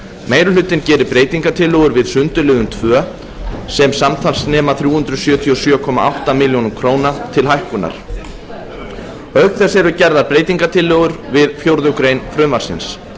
meiri hlutinn gerir breytingartillögur við sundurliðun tvö sem samtals nema þrjú hundruð sjötíu og sjö komma átta milljónir króna til hækkunar auk þess eru gerðar breytingartillögur við fjórðu grein frumvarpsins